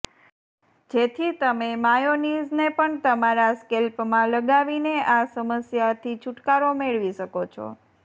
જેથી તમે માયોનીઝને પણ તમારા સ્કેલ્પમાં લગાવીને આ સમસ્યાથી છૂટકારો મેળવી શકો છો